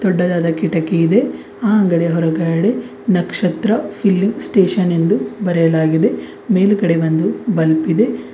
ದೊಡ್ಡದಾದ ಕಿಟಕಿ ಇದೆ ಆ ಅಂಗಡಿಯ ಹೊರಗಡೆ ನಕ್ಷತ್ರ ಫಿಲ್ಲಿಂಗ್ ಸ್ಟೇಷನ್ ಎಂದು ಬರೆಯಲಾಗಿದೆ ಮೇಲ್ಗಡೆ ಒಂದು ಬಲ್ಪ್ ಇದೆ.